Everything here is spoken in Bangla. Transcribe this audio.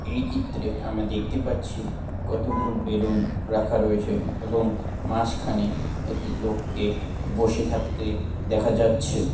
এই চিত্রে আমরা দেখতে পাচ্ছি কতগুলো বেলুন রাখা রয়েছে এবং মাঝখানে একটি লোককে বসে থাকতে দেখা যাচ্ছে।